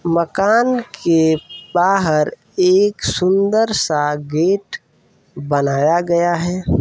मकान के बाहर एक सुन्दर सा गेट बनाया गया है।